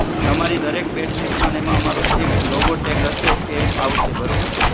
કે અમારી દરેક બેડશીટમાં અમારો એક logo tag હશે એ આવશે બરોબર?